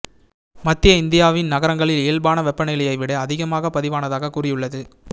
மத்திய இந்தியாவின் நகரங்களில் இயல்பான வெப்பநிலையை விட அதிகமாக பதிவானதாக கூறியுள்ளது